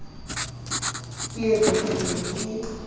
ke re ke ne ke